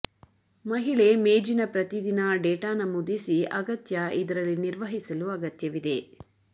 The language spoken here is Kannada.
ಮಹಿಳೆ ಮೇಜಿನ ಪ್ರತಿ ದಿನ ಡೇಟಾ ನಮೂದಿಸಿ ಅಗತ್ಯ ಇದರಲ್ಲಿ ನಿರ್ವಹಿಸಲು ಅಗತ್ಯವಿದೆ